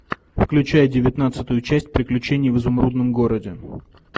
включай девятнадцатую часть приключения в изумрудном городе